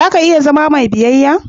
Za ka iya zam mai biyayya?